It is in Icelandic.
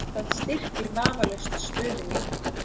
Það styrkir vafalaust stöðu mína.